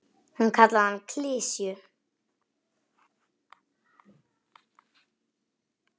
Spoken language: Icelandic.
Hún kallaði hann klisju.